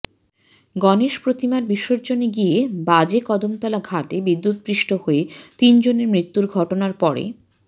গণেশ প্রতিমার বিসর্জনে গিয়ে বাজেকদমতলা ঘাটে বিদ্যুৎস্পৃষ্ট হয়ে তিন জনের মৃত্যুর ঘটনার পরে